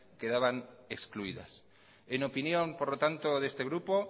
quedaban excluidas en opinión por lo tanto de este grupo